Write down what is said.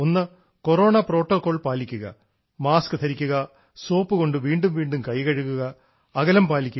ഒന്ന് corona protocol പാലിക്കുക mask ധരിക്കുക സോപ്പുകൊണ്ട് വീണ്ടും വീണ്ടും കൈ കഴുകുക അകലം പാലിക്കുക